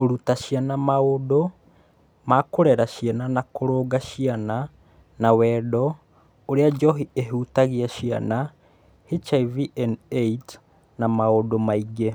Kũruta ciana maũndũ ma kũrera ciana ta kũrũnga ciana na wendo, ũrĩa njohi ĩhutagia ciana, HIV/AIDS na maũndũ mangĩ.